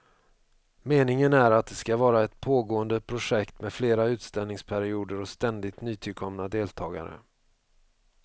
Meningen är att det ska vara ett pågående projekt med fler utställningsperioder och ständigt nytillkomna deltagare.